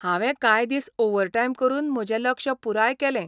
हांवें कांय दीस ओव्हरटायम करून म्हजें लक्ष्य पुराय केलें.